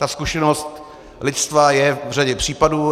Ta zkušenost lidstva je v řadě případů.